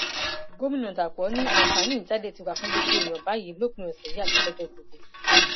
gomina dapò abiodun ni àǹfààní ìjáde ti wà fún gbogbo èèyàn báyìí lópin ọsẹ àti lọjọ gbogbo